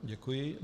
Děkuji.